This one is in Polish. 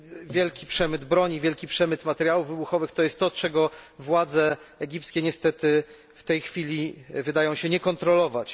Wielki przemyt broni, wielki przemyt materiałów wybuchowych to jest to, czego władze egipskie niestety w tej chwili wydają się nie kontrolować.